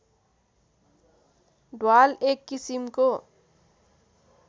ढ्वाल एक किसिमको